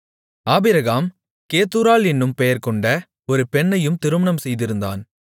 Abraham கேத்தூராள் என்னும் பெயர்கொண்ட ஒரு பெண்ணையும் திருமணம் செய்திருந்தான்